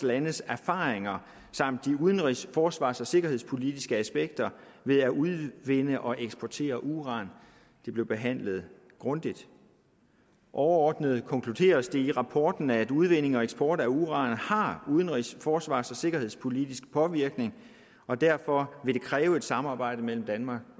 landes erfaringer samt de udenrigs forsvars og sikkerhedspolitiske aspekter ved at udvinde og eksportere uran og de blev behandlet grundigt overordnet konkluderes det i rapporten at udvinding og eksport af uran har udenrigs forsvars og sikkerhedspolitisk påvirkning og derfor vil det kræve et samarbejde mellem danmark